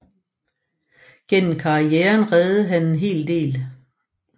Gennem karrieren reddede han en hel del